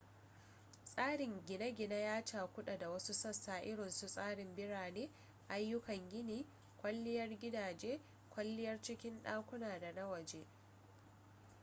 tsarin gine-gine ya cakudu da wasu sassa irinsu tsarin birane ayyukan gini kwalliyar gidaje kwalliyar cikin dakuna da na waje